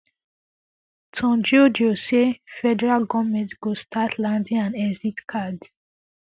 tunjiojo say federal goverment go start landing and exit cards